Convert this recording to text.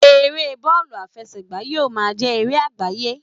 Eré bọọlu afesegba yíò ma jé eré agbaye